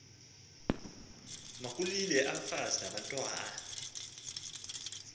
makulile abafazi nabantwana